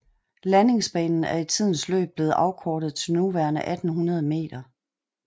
Landingsbanen er i tidens løb blevet afkortet til nuværende 1800 m